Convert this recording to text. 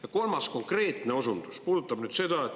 Ja kolmas konkreetne osundus puudutab seda.